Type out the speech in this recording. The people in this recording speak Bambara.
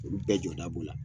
Olu bɛɛ jɔda b'u la